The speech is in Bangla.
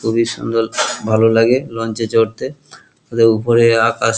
খুবই সুন্দর ভালো লাগে লঞ্চ এ চড়তে উপরে আকাশ।